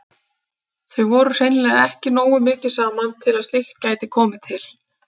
Þau voru hreinlega ekki nógu mikið saman til að slíkt gæti komið til.